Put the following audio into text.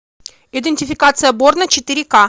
идентификация борна четыре к